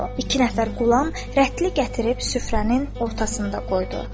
İki nəfər qulam rətlini gətirib süfrənin ortasında qoydu.